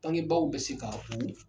Tankebaw bɛ se ka u